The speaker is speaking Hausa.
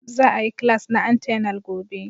Za a yi class na antenal gobe.